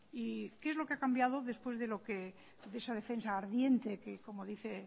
y qué es lo que ha cambiado después de esa defensa ardiente que como dije